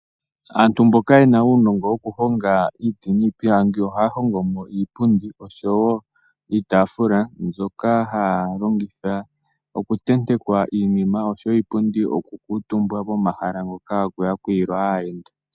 Aantu mboka yena unongo wokuhonga iiti nipilangi ohahongomo iipundi osho wo iitafula mbyoka halongitha oku tenteka iinima osho wo iipundi oku kutumba komahala ngoka hakuyakulilwa aayenda.